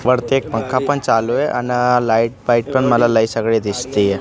वरती एक पंखा पण चालू आहे आणि लाईट पाईट पण मला लई सगळी दिसतीयं.